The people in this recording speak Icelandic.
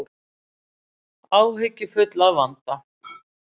Áhyggjufull að vanda.